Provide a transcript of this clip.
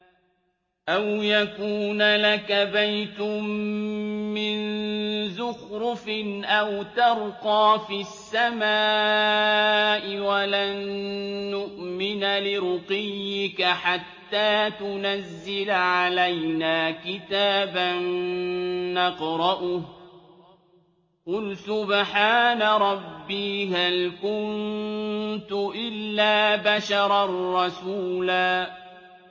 أَوْ يَكُونَ لَكَ بَيْتٌ مِّن زُخْرُفٍ أَوْ تَرْقَىٰ فِي السَّمَاءِ وَلَن نُّؤْمِنَ لِرُقِيِّكَ حَتَّىٰ تُنَزِّلَ عَلَيْنَا كِتَابًا نَّقْرَؤُهُ ۗ قُلْ سُبْحَانَ رَبِّي هَلْ كُنتُ إِلَّا بَشَرًا رَّسُولًا